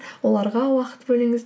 оларға уақыт бөліңіз